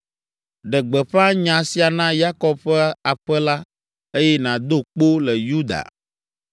“Ɖe gbeƒã nya sia na Yakob ƒe aƒe la eye nàdo kpo le Yuda.